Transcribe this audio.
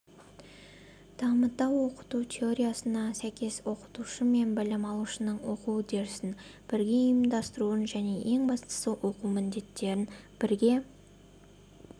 дамыта оқыту теориясына сәйкес оқытушы мен білім алушының оқу үдерісін бірге ұйымдастыруын және ең бастысы оқу міндеттерін бірге